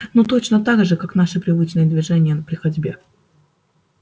ну точно так же как наши привычные движения при ходьбе